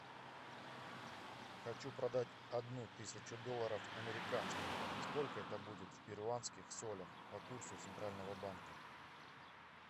хочу продать одну тысячу долларов американских сколько это будет в перуанских солях по курсу центрального банка